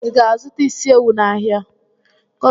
Ị ga-azụta isi ewu n'ahịa?